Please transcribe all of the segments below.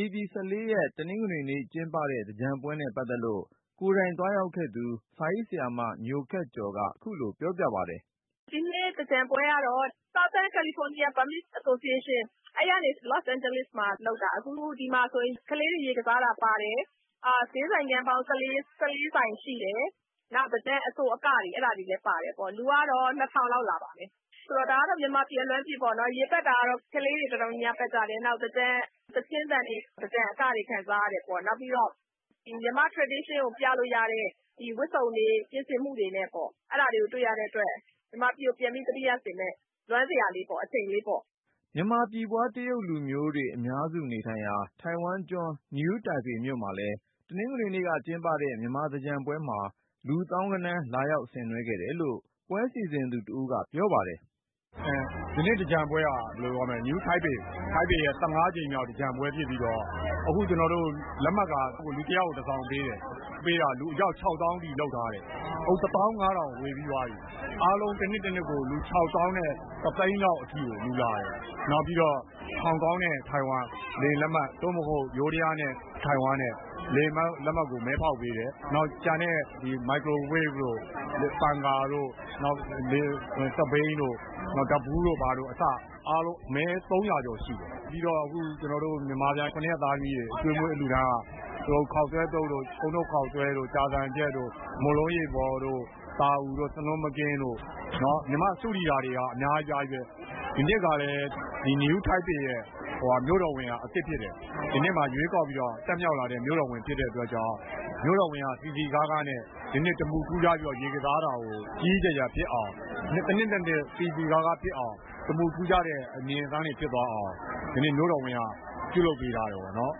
ဧပြီ ၁၄ တနင်္ဂနွေနေ့ ကျင်းပတဲ့ သင်္ကြန်ပွဲနဲ့ပတ်သက်လို့ ကိုယ်တိုင်သွားရောက်ခဲ့သူ စာရေးဆရာမ ညိုခက်ကျော်က ခုလိုပြောပြပါတယ်။ “ ဒီနှစ် သင်္ကြန်ပွဲကတော့ Southern California Burmese Association အဲဒီအဖွဲ့ကနေ လော့စ်အမ်းဂျလိဇ်မှာ လုပ်တာ။ အခုဒီမှာဆိုရင် ကလေးတွေ ရေကစားတာပါတယ်။ ဈေးဆိုင်ခန်းပေါင်း ၁၄ ဆိုင်ရှိတယ်။ နောက် သင်္ကြန်အဆိုအကတွေ အဲဒါတွေလည်း ပါတယ်ပေါ့။ လူကတော့ ၂၀၀၀ လောက် လာပါတယ်။ ဒါကတော့ မြန်မာပြည် အလွမ်းပြေပေ့ါနော်၊ ရေပက်တာကတော့ ကလေးတွေ အတော်များများ ပက်ကြတယ် နောက်.. သင်္ကြန်သီချင်းသံတွေ သင်္ကြန်အကတွေ ခံစားရတယ်ပေါ့။ နောက်ပြီးတော့ မြန်မာ့ရိုးရာ ယဉ်ကျေးမှုကို ပြလို့ရတဲ့ ဝတ်စုံတွေ ပြင်ဆင်မှုတွေနဲ့ပေ့ါ အဲဒါတွေကို တွေ့ရတဲ့အတွက် မြန်မာပြည်ကို ပြန်ပြီးသတိရစေမယ့် လွမ်းစရာအချိန်လေးပေါ့။ ” မြန်မာပြည်ဖွား တရုတ်လူမျိုးတွေအများစု နေထိုင်ရာ၊ ထိုင်ဝမ်ကျွန်း New Taipei မြို့မှာလည်း တနင်္ဂနွေနေ့က ကျင်းပခဲ့တဲ့ မြန်မာသင်္ကြန်ပွဲမှာ လူသောင်းဂဏန်း လာရောက်ဆင်နွှဲခဲ့တယ်လို့ ပွဲစီစဉ်သူတဦးဖြစ်တဲ့ ကိုကျင်အောင်က ပြောပါတယ်။ “ ဒီနှစ်သင်္ကြန်ပွဲက New Taipei ရဲ့ ၁၅ ကြိမ်မြောက် သင်္ကြန်ပွဲဖြစ်ပြီးတော့ အခုဝင်ခွင့်လက်မှတ်က ကျနော်တို့ လူတယောက်ကို တစောင် ပေးတယ်။ ပေးတာ လူအယောက် ခြောက်သောင်းအထိ လုပ်ထားတယ်။ အခု တသောင်း ငါးထောင်ဝေပြီးသွားပြီး။ အားလုံး တနှစ်တနှစ်ကို လူ ခြောက်သောင်းနဲ့ တသိန်းလောက်အထိကို လာကြတယ်။ နောက်ပြီးတော့ ဟောင်ကောင်နဲ့ ထိုင်ဝမ်လေယာဉ်လက်မှတ် သို့မဟုတ် ယိုးဒယားနဲ့ ထိုင်ဝမ်ကြား လေယာဉ်လက်မှတ်တွေကို မဲဖေါက်ပေးတယ်။ နောက်ကျန်တာတွေက မိုက်ခရိုဝေ့ဖ်တို့ နောက် ပန်ကာတို့၊ စက်ဘီးတို့ နောက် ဓါတ်ဗူးတို့ဘာတို့ အဲလိုတွေ အားလုံး မဲ ၃၀၀ ကျော်ဖေါက်ပေးတယ်။ ပြီးတော့ မြန်မာပြန် ၇ ရက်သားသမီးတွေ အကျွေးအမွေး အလှူအတန်းက ခေါက်ဆွဲသုပ်၊ အုန်းနို့ခေါက်ဆွဲ၊ ကြာဆံချက်တို့ မုန့်လုံးရေပေါ်တို့ သာကူတို့ ဆနွင်းမကင်းတို့ မြန်မာ့ စတုဒီသာတွေက အများကြီးပဲ။ ဒီနှစ်ကလည်း ဒီ New Taipei ရဲ့ မြို့တော်ဝန်က အသစ်ဖြစ်တယ်၊ ဒီနှစ်မှာမှ ရွေးကောက်ခံပြီး တက်လာတဲ့ မြို့တော်ဝန် ဖြစ်တဲ့အတွက်ကြောင့် သူက သင်္ကြန်ကို စည်စည်ကားကားနဲ့ တမူထူးခြားပြီး ရေကစားတာကို ကြီးကြီးကျယ်ကျယ်ဖြစ်အောင်၊ တနှစ်နဲ့တနှစ် စည်စည်ကားကား ဖြစ်အောင် ထူးခြားတဲ့အမြင်ဆန်းအောင် မြို့တော်ဝန်က ဒီနေ့ ပြုလုပ်ပေးထားတယ်ပေါ့နော်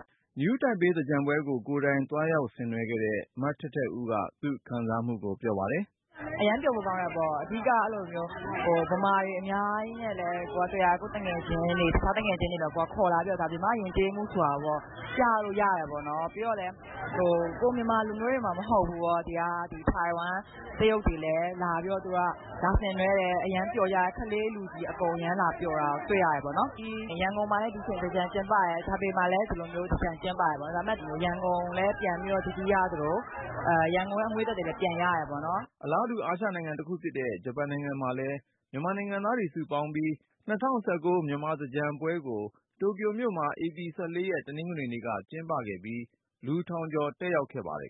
။” New Taipei သင်္ကြန်ပွဲကို ကိုယ်တိုင်သွားရောက် ဆင်နွှဲခဲ့တဲ့ ထိုင်ဝမ်မှာ အထက်တန်းကျောင်း တက်နေသူ မထက်ထက်ဦးက သူ့အတွေ့အကြုံကို ပြောပါတယ်။ “ အရမ်းပျော်ဖို့ ကောင်းတာပေါ့။ အဓိကတော့ အဲဒီလိုမျိုး ဗမာတွေအများကြီးနဲ့လည်း တွေ့ရတယ်၊ ကိုယ့်သူငယ်ချင်းတွေ အခြားသူငယ်ချင်း တွေလည်း ခေါ်လာပြီးတော့ ဒါမြန်မာ့ယဉ်ကျေးမှု ဆိုတာကိုပေါ့ ကိုယ်ကပြလို့ရတယ်ပေါ့နော်။ ပြီးတော့လည်း ကိုယ် မြန်မာလူမျိုးတွေမှ မဟုတ်ဖူးပေါ့ ဒီက ထိုင်ဝမ်တရုတ်တွေလည်း လာပြီးတော့ သူတို့က ဆင်နွှဲကြတယ်၊ ကလေးလူကြီး အကုန် အရမ်းလာပျော်တာ တွေ့ရတယ်ပေါ့လေ။ ရန်ကုန်မှာလည်း ဒီချိန် သင်္ကြန်ကျင်းပတယ် ထိုင်ပေမှာလည်း ဒီလိုမျိုး သင်္ကြန်ကျင်းပတယ်ပေါ့ ဒါပေမဲ့ ရန်ကုန်ကိုလည်း ပြန်ပြီး သတိရသလို၊ ရန်ကုန်ရဲ့ အငွေ့အသက်တွေလည်း ပြန်ရတယ်ပေါ့နော်။” အလားတူ အာရှနိုင်ငံတခုဖြစ်တဲ့ ဂျပန်နိုင်ငံမှာလည်း မြန်မာနိုင်ငံသားတွေ စုပေါင်းပြီး ၂၀၁၉ မြန်မာသင်္ကြန်ပွဲကို တိုကျိုမြို့မှာ ဧပြီ ၁၄ တနင်္ဂနွေနေ့က ကျင်းပခဲ့ပြီး လူထောင်ကျော် တက်ရောက်ခဲ့ပါတယ်